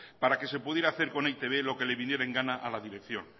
para que se pudiera hacer con e i te be lo que le viniera en gana a la dirección